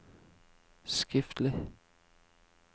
skriftlig